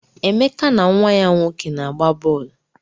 Emeka na nwa ya nwoke na-agba bọọlụ.